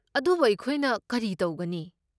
ꯑꯗꯨꯕꯨ, ꯑꯩꯈꯣꯏꯅ ꯀꯔꯤ ꯇꯧꯒꯅꯤ?